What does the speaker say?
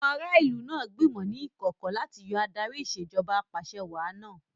Àwọn ará ìlú náà gbìmọ̀ ní ìkọ̀kọ̀ láti yọ Adarí Ìṣèjọba Ap'àṣẹwàá náà